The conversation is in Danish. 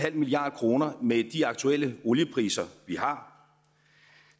milliard kroner med de aktuelle oliepriser vi har